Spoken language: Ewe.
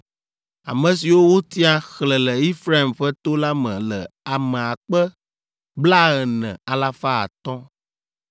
Ame siwo wotia, xlẽ le Efraim ƒe to la me le ame akpe blaene, alafa atɔ̃ (40,500).